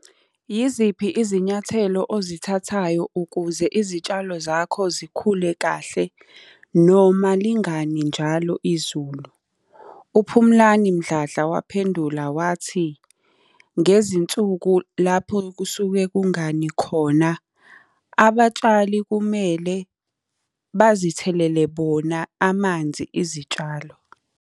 Yiziphi izinyathelo ozithathayo ukuze izitshalo zakho zikhule kahle noma lingani njalo izulu? UPhumlani Mdladla waphendula wathi, ngezinsuku lapho kusuke kungani khona, abatshali kumele bazithelele bona amanzi izitshalo.